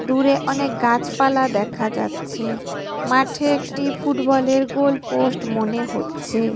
দূরে অনেক গাছপালা দেখা যাচ্ছে। মাঠে একটি ফুটবলের গোল পোস্ট মনে হচ্ছে।